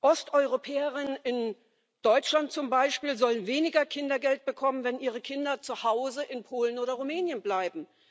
Osteuropäerinnen in Deutschland zum Beispiel sollen weniger Kindergeld bekommen, wenn ihre Kinder zu Hause in Polen oder Rumänien bleiben.